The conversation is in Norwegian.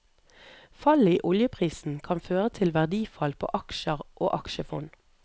Fallet i oljeprisen kan føre til verdifall på aksjer og aksjefond.